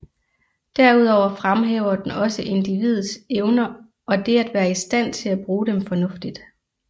Derudover fremhæver den også individets evner og det at være i stand til at bruge dem fornuftigt